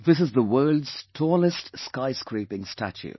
This is the world's tallest scyscraping statue